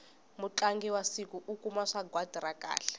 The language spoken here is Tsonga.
mutlangi wa siku u kuma sagwati ra kahle